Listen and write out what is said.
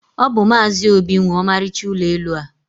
ọ bụ Maazị Obi nwe ọmarịcha ụlọ elu a.